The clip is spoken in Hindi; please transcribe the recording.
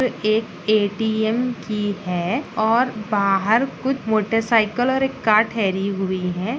--एक ए_टी_एम की है और बाहर कुछ मोटर साइकिल और एक कार ठहरी हुई है।